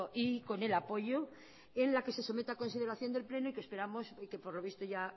y con el apoyo en la que se somete a consideración del pleno y esperamos que por lo visto ya